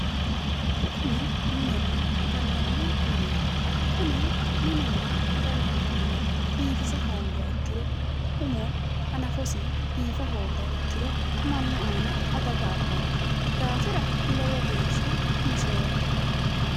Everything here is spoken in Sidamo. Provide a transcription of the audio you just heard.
Kuni minenna gallanni mineeti kuni minunna gallanni mini biifisa hoongiha ikkiro umo hanafosi biifa hoogiha ikkiro mannu aana adaga abbanno daafira lowo geeshsha mishoommo